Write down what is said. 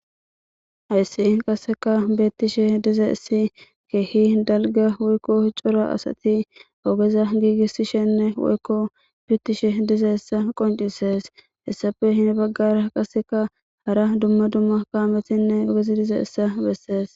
hayssi qaseka beettishe dizays keehi dalga woykko ccora asati ogeza giigissishenne woykko pitishe dizaysa qoncisees hessappe hen baggara qaseka hara dumma dumma kaametinne ogezi dizaysa bessees